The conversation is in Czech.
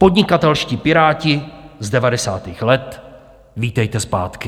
Podnikatelští piráti z devadesátých let, vítejte zpátky!